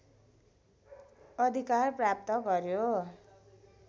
अधिकार प्राप्त गर्‍यो